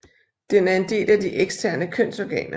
Den er en del af de eksterne kønsorganer